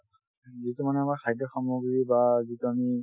যিটো মানে আমাৰ খাদ্য সামগ্ৰী বা যিটো আমি